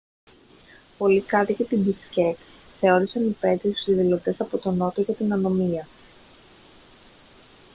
πολλοί κάτοικοι της μπισκέκ θεώρησαν υπαίτιους τους διαδηλωτές από τον νότο για την ανομία